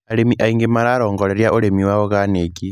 Arĩmi aingĩ mararongoreria ũrĩmi wa oganiki.